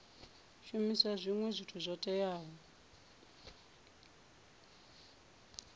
shumisa zwinwe zwithu zwo teaho